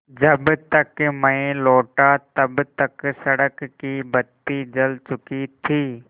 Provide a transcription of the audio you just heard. जब तक मैं लौटा तब तक सड़क की बत्ती जल चुकी थी